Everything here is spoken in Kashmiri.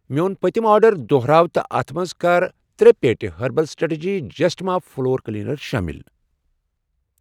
میٚون پٔتم آرڈردہراو تہٕ اتھ مَنٛز کر ترؔے پیٹہِ ہرٔبل strategy just mop floor cleaner شٲمِل